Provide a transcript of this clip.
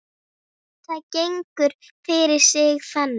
Það gengur fyrir sig þannig